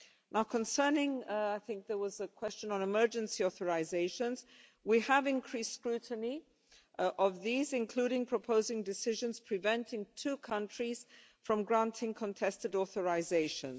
Now, concerning I think there was a question on emergency authorisations we have increased scrutiny of these, including proposing decisions preventing two countries from granting contested authorisations.